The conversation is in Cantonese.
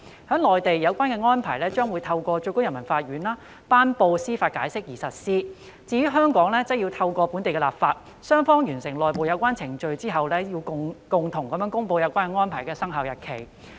在內地，有關《安排》將透過最高人民法院頒布司法解釋而實施；在香港，則要透過本地立法；而在雙方完成內部有關程序後，便會共同公布有關《安排》的生效日期。